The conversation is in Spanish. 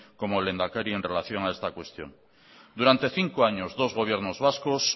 como lehendakari en relación a esta cuestión durante cinco años dos gobiernos vascos